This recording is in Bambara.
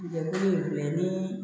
Jɛkulu in tun bɛ ni